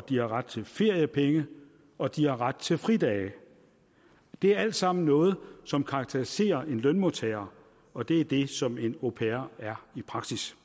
de har ret til feriepenge og de har ret til fridage det er alt sammen noget som karakteriserer en lønmodtager og det er det som en au pair er i praksis